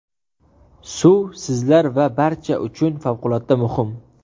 Suv sizlar va barcha uchun favqulodda muhim.